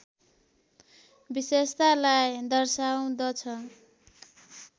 विशेषतालाई दर्शाउँदछ